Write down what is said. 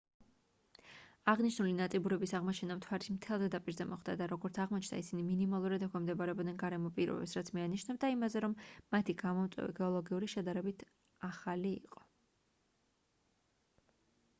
აღნიშნული ნაწიბურების აღმოჩენა მთვარის მთელს ზედაპირზე მოხდა და როგორც აღმოჩნდა ისინი მინიმალურად ექვემდებარებოდნენ გარემო პირობებს რაც მიანიშნებდა იმაზე რომ მათი გამომწვევი გეოლოგიური შედარებით ახალი იყო